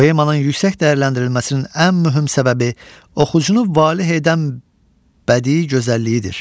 Poemanın yüksək dəyərləndirilməsinin ən mühüm səbəbi oxucunu valeh edən bədii gözəlliyidir.